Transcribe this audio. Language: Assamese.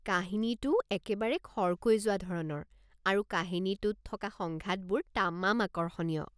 কাহিনীটোও একেবাৰে খৰকৈ যোৱা ধৰণৰ আৰু কাহিনীটোত থকা সংঘাতবোৰ তামাম আকৰ্ষণীয়।